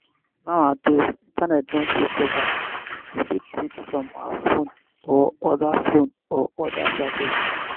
nowadays internet don take over we fit read from our phone or oda phone or oda gadget